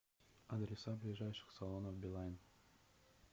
адреса ближайших салонов билайн